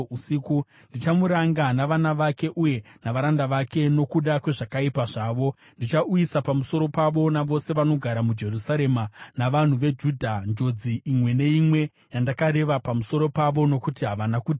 Ndichamuranga navana vake uye navaranda vake nokuda kwezvakaipa zvavo; ndichauyisa pamusoro pavo navose vanogara muJerusarema navanhu veJudha njodzi imwe neimwe yandakareva pamusoro pavo, nokuti havana kuteerera.’ ”